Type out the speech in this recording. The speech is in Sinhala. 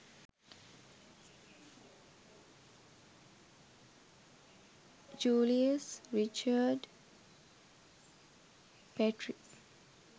julius richard petri